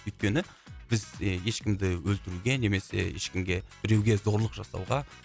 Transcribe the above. өйткені біз ешкімді өлтіруге немесе ешкімге біреуге зорлық жасауға